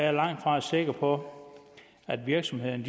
er langt fra sikker på at virksomhederne